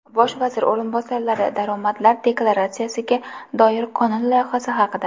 Bosh vazir o‘rinbosarlari daromadlar deklaratsiyasiga doir qonun loyihasi haqida.